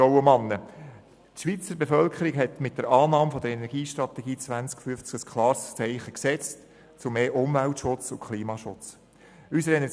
Diese hat mit der Annahme der Energiestrategie 2050 ein klares Zeichen für mehr Umwelt- und Klimaschutz gesetzt.